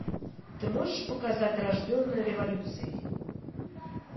ты можешь показать рожденная революцией